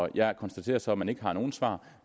jeg konstaterer så at man ikke har nogen svar